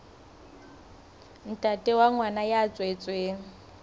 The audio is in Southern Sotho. ntate wa ngwana ya tswetsweng